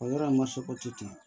O yɔrɔ in ma se ko te ten